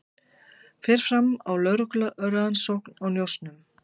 Fer fram á lögreglurannsókn á njósnum